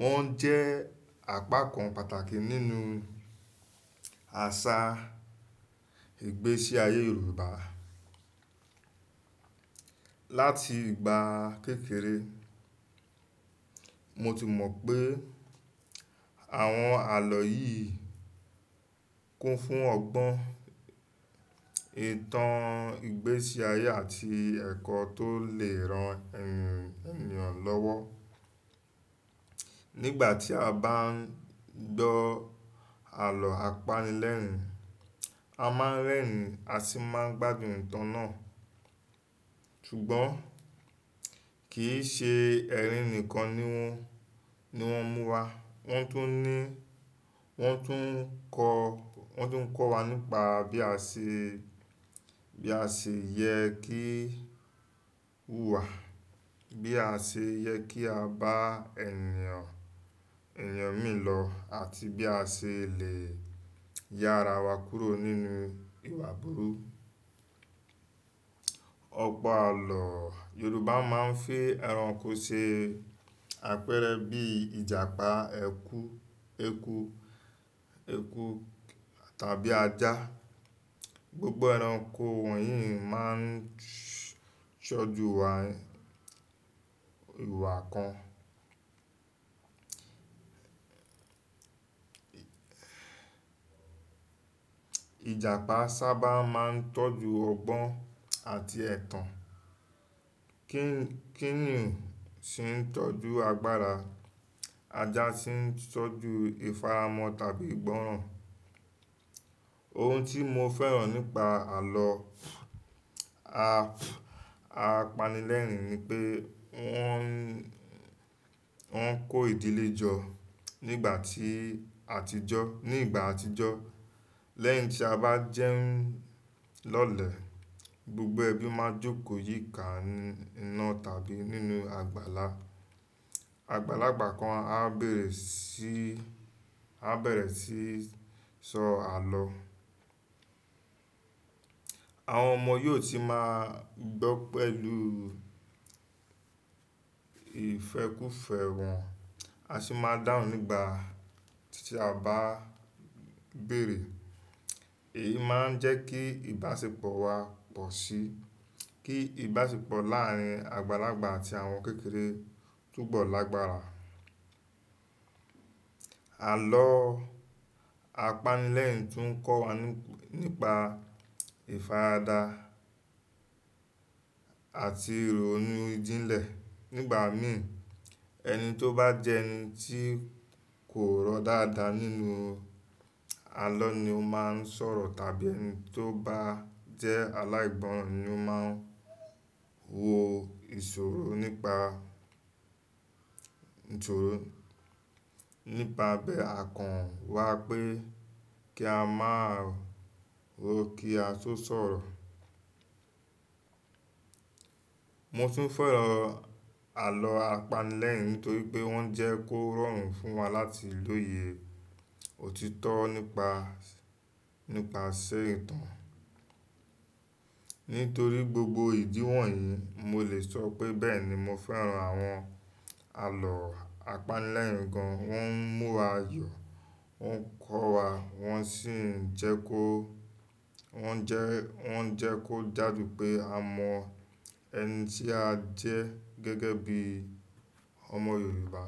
Wọ́n jẹ́ àpakan pàtàkì nínú àṣà ìgbésí ayé Yorùbá. Látì ìgbà kékeré, mo ti mọ̀ pé àwọn àlọ́ yìí kún fún ọgbọ́n ìtàn ìgbésí ayé àti ẹ̀kọ́ tó lè ran ènìyàn lọ́wọ́. Nígbà tí a bá ń gbọ́ àlọ́ apanilẹ́rin, a máa ń rẹ́rìn-ín a sì máa ń gbádùn ìtàn náà. Kì í ṣe ẹ̀rín nìkan ni wọ́n, ni wọ́n múwa wọ́n tún ní, wọ́n tún kọ́, wọ́n tún kọ́ wa nípa bí a ṣe, bí a ṣe yẹ kí wùwà, bí a ṣe yẹ kí a bá ènìyàn, ènìyàn mìíràn lọ àti bí a ṣe lè yára wa kúrò nínú ìwà burúkú. Yorùbá máa ń fí ẹranko ṣe àpẹẹrẹ bí ìjàpá, ẹkú, eku, ẹkú tàbí ajá. Gbogbo ẹranko wọ̀nyí máa ń sọ́juwa ìwà kan. Ìjàpá sábà máa ń tọ́jú ọgbọ́n àti ẹ̀tàn. Kí-kíníún sì ń tọ́jú agbára. Ajá sì ń tọ́jú ìfaramọ́ tàbí ìgbọràn. Ohun tí mo fẹ́ràn nípa àlọ́ apanilẹ́rin ni pé wọ́n, wọ́n ń kó ìdílé jọ nígbà tí àtijọ́, ní ìgbà àtijọ́. Lẹ́yìn tí a bá jẹun lọ́lẹ̀, gbogbo ẹbí máa jókòó yíká iná tàbí nínú àgbàlá. Àgbàlagbà kan á bẹ̀rẹ̀ sí, á bẹ̀rẹ̀ sí í sọ àlọ́. Àwọn ọmọ yóò sì máa gbọ́ pẹ̀lú ìfẹ́kúfẹ̀ẹ́ wọn, a sì máa dáhùn nígbà tí a bá bẹ̀rẹ̀. Èyí máa ń jẹ́ kí ìbáṣepọ̀ wa pọ̀ síí, kí ìbáṣepọ̀ láàárín àgbàlagbà àti àwọn kékeré túbọ̀ lágbára. Àlọ́ apanilẹ́rin tún ń kọ́ wa nípa ìfaradà àti ìrònú ìjìnlẹ̀. Nígbà mìí, ẹni tó bá jẹ́ ẹni tí kò rọ̀ dáadáa nínú àlọ́ ni ó máa ń sọ̀rọ̀, tàbí ẹni tó bá jẹ́ aláìgbọ́n ni ó máa ń wo ìṣòro nípa, ìṣòro nípa abẹ àkàn wá pé kí a má rò kí a tó sọ̀rọ̀. Mo tún fẹ́ràn àlọ́ apanilẹ́rin nítorí pé wọ́n jẹ́ kó rọrùn fún wa láti lòye òtítọ́ nípa, nípa sẹ́ ìtàn. Nítorí gbogbo ìdí wọ̀nyí, mo lè sọ pé, mo fẹ́ràn àwọn àlọ́ apanilẹ́rin gan. Wọ́n ń mú wa yọ, wọ́n ń kọ́ wa, wọ́n sì ń jẹ́ kó, wọ́n ń jẹ́, wọ́n ń jẹ́ kó jáde pé a mọ ẹni tí a jẹ́ gẹ́gẹ́ bí ọmọ Yorùbá.